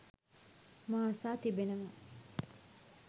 මා අසා තිබෙනවා